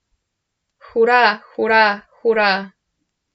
Hura, hura, hura!